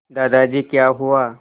दादाजी क्या हुआ